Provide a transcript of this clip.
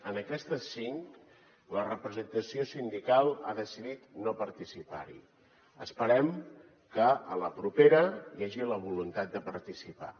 en aquestes cinc la representació sindical ha decidit no participar hi esperem que a la propera hi hagi la voluntat de participar hi